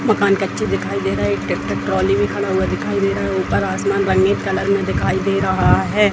मकान कच्चे दिखाई दे रहा है | एक ट्रेक्टर ट्रॉली भी खड़ा हुआ दिखाई दे रहा है | ऊपर आसमान भी रंगीन कलर में दिखाई दे रहा है |